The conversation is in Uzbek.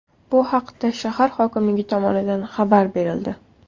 Bu haqda shahar hokimligi tomonidan xabar berildi .